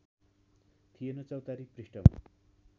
थिएन चौतारी पृष्ठमा